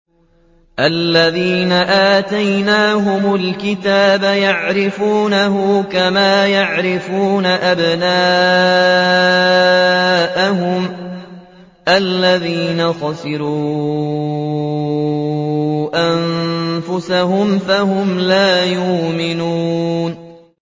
الَّذِينَ آتَيْنَاهُمُ الْكِتَابَ يَعْرِفُونَهُ كَمَا يَعْرِفُونَ أَبْنَاءَهُمُ ۘ الَّذِينَ خَسِرُوا أَنفُسَهُمْ فَهُمْ لَا يُؤْمِنُونَ